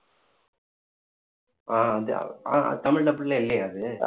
ஆஹ் வந்து ஆஹ் தமிழ் dubbed ல இல்லையா அது